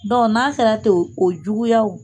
n'a sera ten o juguyaw